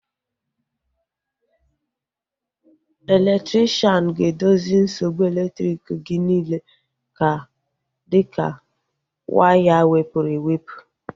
Elektrikshan ga-edozi nsogbu elektriki gị niile dịka waya wepụrụ ewepụ